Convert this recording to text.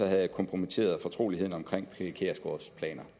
jeg kompromitteret fortroligheden om fru pia kjærsgaards planer